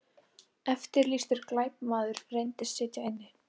Eftirlýstur glæpamaður reyndist sitja inni